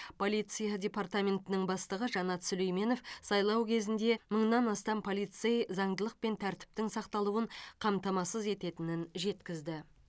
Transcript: полиция департаментінің бастығы жанат сүлейменов сайлау кезінде мыңнан астам полицей заңдылық пен тәртіптің сақталуын қамтамасыз ететінін жеткізді